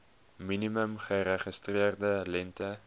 minimum geregistreerde lengte